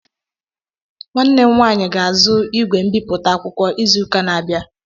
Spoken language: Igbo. Nwanne m nwaanyị ga-azụ ígwè mbipụta akwụkwọ izụka n'abia abịa.